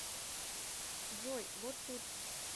джой вот тут